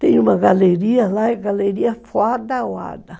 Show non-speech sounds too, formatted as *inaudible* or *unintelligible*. Tem uma galeria lá, é galeria *unintelligible*